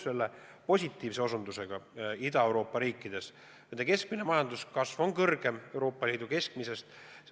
Ma olen nõus selle positiivse osutusega Ida-Euroopa riikide kohta, et nende keskmine majanduskasv on kõrgem Euroopa Liidu keskmisest.